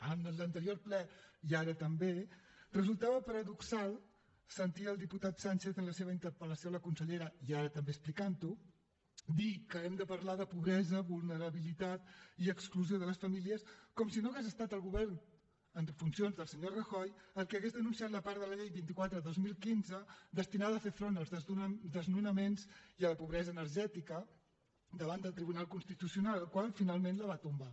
en l’anterior ple i ara també resultava paradoxal sentir al diputat sánchez en la seva interpel·lació a la consellera i ara també explicant ho dir que hem de parlar de pobresa vulnerabilitat i exclusió de les famílies com si no hagués estat el govern en funcions del senyor rajoy el que hagués denunciat la part de la llei vint quatre dos mil quinze destinada a fer front als desnonaments i a la pobresa energètica davant del tribunal constitucional el qual finalment la va tombar